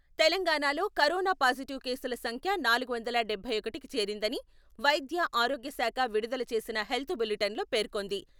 తెలంగాణలో corona positive కేసుల సంఖ్య నాలుగు వందల డబ్బై ఒకటికి చేరిందనివైద్య, ఆరోగ్య శాఖ విడుదల చేసిన హెల్త్ బులిటెన్లో పేర్కొంది.